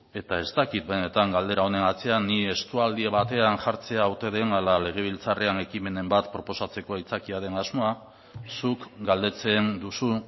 eta ez dakit benetan galdera honen atzean ni estualdi batean jartzea ote den ala legebiltzarrean ekimenen bat proposatzeko aitzakia den asmoa zuk galdetzen duzu